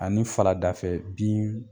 Ani faradafɛ bin